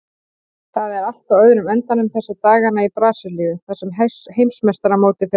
Það er allt á öðrum endanum þessa dagana í Brasilíu þar sem heimsmeistaramótið fer fram.